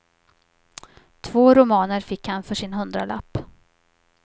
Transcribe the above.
Två romaner fick han för sin hundralapp.